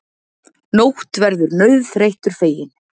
Nótt verður nauðþreyttur feginn.